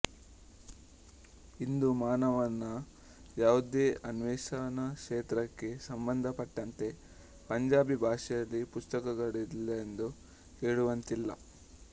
ಇಂದು ಮಾನವನ ಯಾವುದೇ ಅನ್ವೇಷಣಾಕ್ಷೇತ್ರಕ್ಕೆ ಸಂಬಂಧ ಪಟ್ಟಂತೆ ಪಂಜಾಬಿ ಭಾಷೆಯಲ್ಲಿ ಪುಸ್ತಕಗಳಿಲ್ಲವೆಂದು ಹೇಳುವಂತಿಲ್ಲ